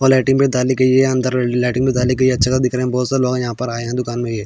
और लायटिंग भी डाली गयी है अंदर लायटिंग भी डाली गयी है अच्छा सा दिख रहा है बोहोत सा लोग आये है इस दुकान में.